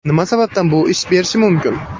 Nima sababdan bu ish berishi mumkin?